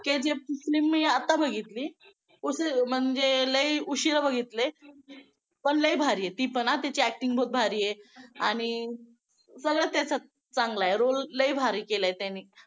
KGF मी आता बघितली, म्हणजे लई उशिरा बघितली पण लई भारी आहे ती पण हां तिची acting बहुत भारी आहे आणि सगळं त्याचं चांगलं आहे role लई भारी केलाय त्यांनी